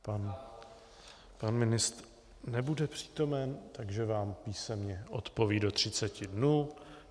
Pan ministr nebude přítomen, takže vám písemně odpoví do 30 dnů.